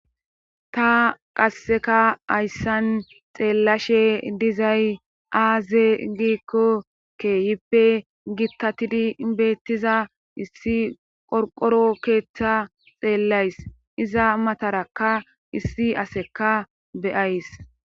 ta qasseka hayssan xeellashe dizay aazee giikko keehippe gittatidi bettiza issi qorqoro keeththa xeellays iza matarakka issi aseka be7ays